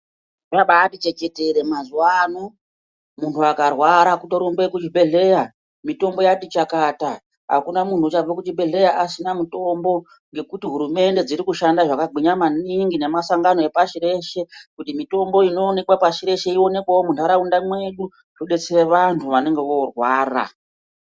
Abaati chechetere mazwano muntu akarwara kutoronge kuzvibhedhleya mitombo yati chakata akana munhu uchabve kuzvibhedhleya asina mutombo ngekuti hurumende dzikushanda zvakagwinya maningi namasangano epachireshe kuti mitombo inowanikwa pashireshe iwonekwewo mundaraunda mwedu ubeshera vantu vanenge vorwara